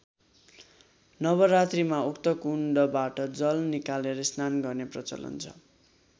नवरात्रीमा उक्त कुण्डबाट जल निकालेर स्नान गर्ने प्रचलन छ।